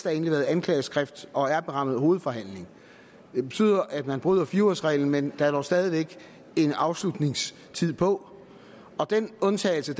er indleveret et anklageskrift og er berammet hovedforhandling det betyder at man bryder fire ugers reglen men at der dog stadig væk er en afslutningstid på den undtagelse